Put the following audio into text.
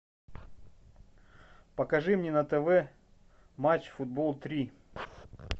покажи мне на тв матч футбол три